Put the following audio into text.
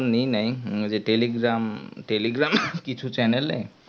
এখুন নি নাই ওই যে telegram-telegram কিছু channel এ